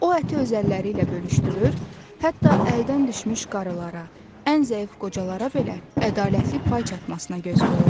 O əti öz əlləri ilə bölüşdürür, hətta əldən düşmüş qadınlara, ən zəif qocalara belə ədalətli pay çatmasına göz qoyurdu.